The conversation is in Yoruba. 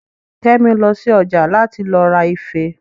Kẹ́mi lọ sí ọjà láti lọ ra ife